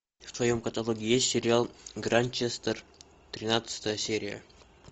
в твоем каталоге есть сериал гранчестер тринадцатая серия